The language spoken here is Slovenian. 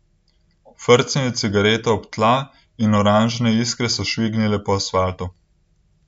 Frcnil je cigareto ob tla in oranžne iskre so švignile po asfaltu.